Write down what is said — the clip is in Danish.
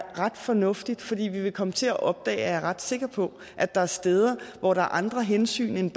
ret fornuftigt fordi vi vil komme til at opdage er jeg ret sikker på at der er steder hvor der er andre hensyn end